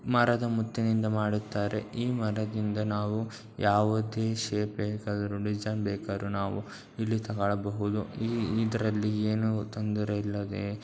ಮರದ ಮುತ್ತಿನಿಂದ ಮಾಡುತ್ತಾರೆ ಈ ಮರದಿಂದ ನಾವು ಯಾವುದೇ ಶೇಪ್ ಬೇಕಾದ್ರು ಡಿಸೈನ್ ಬೇಕಾದ್ರು ನಾವು ಇಳ್ಳಿ ತೆಗೆಕೊಳ್ಳಬಹುದು ಯಾವುದೇ ತೊಂದ್ರೆ ಇಲ್ಲದೆ--